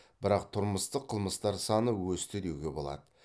бірақ тұрмыстық қылмыстар саны өсті деуге болады